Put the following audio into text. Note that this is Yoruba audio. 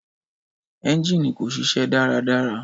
Ẹ́ngínì kò ṣiṣẹ́ dáradára.